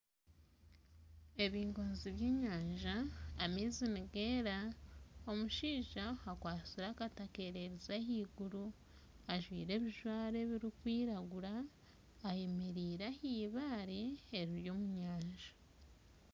Ebingoozi by'enyanja, amaizi nigeera omushaija akwatsire akati akererize ahaiguru ajwaire ebijwaro ebirikwiraguura, ayemereire ah'ibaare eriri omu nyanja.